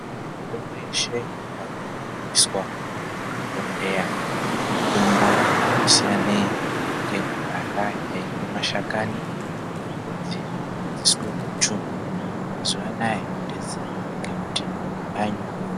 Mitombo yeshe ingadai yoiswa muzvibhohleya mitombo yati siyanei ngeyekudhaya yainge mashakani nemidzi zvaigadziriswe guchu. Mazuwa anaa yodetsera ngekuti yanyore.